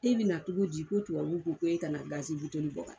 E bina cogo di ko tubabuw ko k'e ka na bɔ ka taa